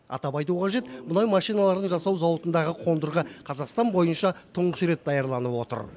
атап айту қажет мұнай машиналарын жасау зауытындағы қондырғы қазақстан бойынша тұңғыш рет даярланып отыр